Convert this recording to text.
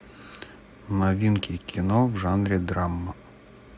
новинки кино в жанре драма